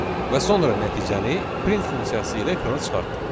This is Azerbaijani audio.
Və sonra nəticəni print funksiyası ilə ekrana çıxartdıq.